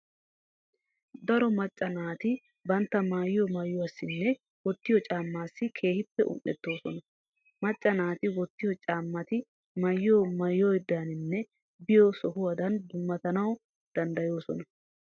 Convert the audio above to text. Darotoo macca naati bantta maayiyo maayuwassinne wottiyo caammaassi keehippe un"ettoosona. Macca naati wottiyo caammati maayyiyo maayuwadaaninne biyo sohuwadan dummatanawu danddayoosona.